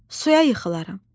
Suya yıxılaram.